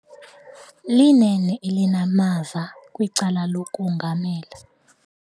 Linene elinamava kwicala lokongamela.